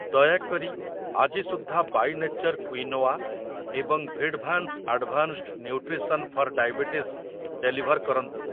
ଦୟାକରି ଆଜି ସୁଦ୍ଧା ବାଇ ନେଚର କ୍ୱିନୋଆ ଏବଂ ଭିଡଭାନ୍ସ୍ advanced nutrition for diabetes deliver କରନ୍ତୁ ।